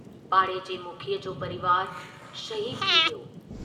पाड़े जे मुखीअ जो परिवारु शहीदु थी वियो।